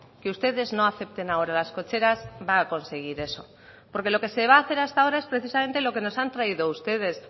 que ustedes no acepten ahora las cocheras va a conseguir eso porque lo que se va a hacer hasta ahora es precisamente lo que nos han traído ustedes